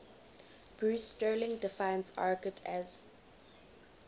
bruce sterling defines argot as